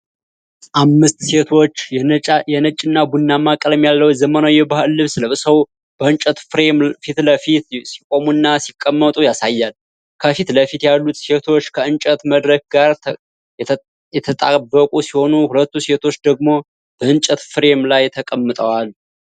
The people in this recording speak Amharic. አምስት ሴቶች የነጭና ቡናማ ቀለም ያለው ዘመናዊ የባህል ልብስ ለብሰው፣ በእንጨት ፍሬም ፊት ለፊት ሲቆሙና ሲቀመጡ ያሳያል። ከፊት ለፊት ያሉት ሴቶች ከእንጨት መድረክ ጋር የተጣበቁ ሲሆኑ፣ ሁለቱ ሴቶች ደግሞ በእንጨት ፍሬም ላይ ተቀምጠዋል።